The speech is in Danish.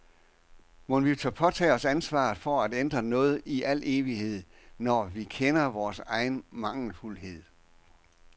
Mon vi tør påtage os ansvaret for at ændre noget i al evighed, når vi kender vores egen mangelfuldhed.